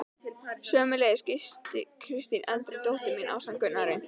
Sömuleiðis gisti Kristín eldri dóttir mín ásamt Gunnari